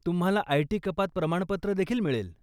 तुम्हाला आयटी कपात प्रमाणपत्र देखील मिळेल.